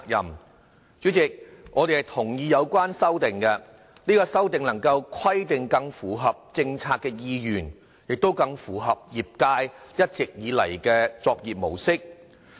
代理主席，我們同意有關修訂，這些修訂能規定更符合政策的意願，亦更符合業界一直以來的作業模式。